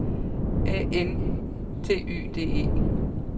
A N T Y D E